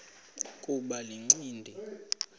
kuba le ncindi